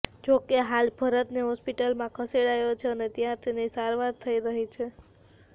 જોકે હાલ ભરતને હોસ્પિટલમાં ખસેડાયો છે અને ત્યાં તેની સારવાર થઇ રહી છે